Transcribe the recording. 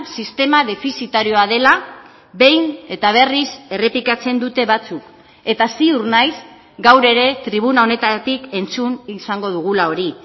sistema defizitarioa dela behin eta berriz errepikatzen dute batzuk eta ziur naiz gaur ere tribuna honetatik entzun izango dugula hori